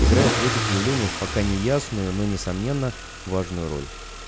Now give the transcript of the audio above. играют в этих явлениях пока неясную но несомненно важную роль